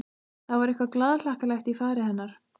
Það var eitthvað glaðhlakkalegt í fari hennar.